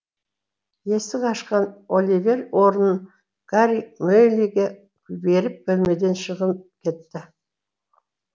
есік ашқан оливер орнын гарри мэйлиге беріп бөлмеден шығып кетті